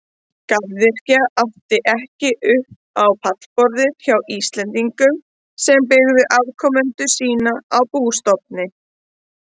Garðyrkja átti ekki upp á pallborðið hjá Íslendingum sem byggðu afkomu sína á bústofni.